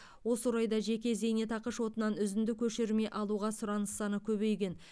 осы орайда жеке зейнетақы шотынан үзінді көшірме алуға сұраныс саны көбейген